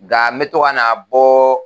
Ga n me to ka na bɔ